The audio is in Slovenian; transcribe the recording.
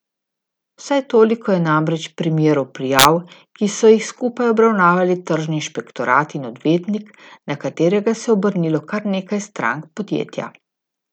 Vsaj toliko je namreč primerov prijav, ki so jih skupaj obravnavali tržni inšpektorat in odvetnik, na katerega se je obrnilo kar nekaj strank podjetja.